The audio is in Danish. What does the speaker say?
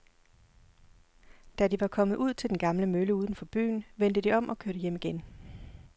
Da de var kommet ud til den gamle mølle uden for byen, vendte de om og kørte hjem igen.